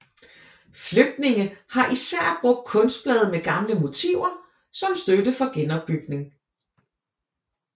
Flygtninge har især brugt kunstblade med gamle motiver som støtte for genopbygning